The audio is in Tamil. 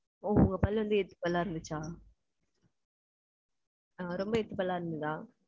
உ~ உங்க பல்லு வந்து எத்து பல்லா இருந்துச்சா? ரொம்ப எத்து பல்லா இருந்ததா?